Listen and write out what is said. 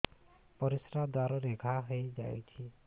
ପରିଶ୍ରା ଦ୍ୱାର ରେ ଘା ହେଇଯାଇଛି